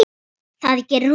Það gerir hún.